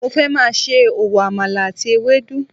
Mo fẹ́ máa ṣe òwò àmàlà àti ewédú